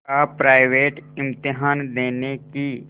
का प्राइवेट इम्तहान देने की